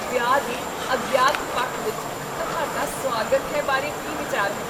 ਵਿਆਹ ਦੇ ਅਗਿਆਤ ਪੱਖ ਵਿੱਚ ਤੁਹਾਡਾ ਸੁਆਗਤ ਹੈ ਬਾਰੇ ਕੀ ਵਿਚਾਰ ਹੈ?